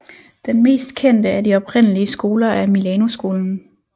Den mest kendte af de oprindelige skoler er Milanoskolen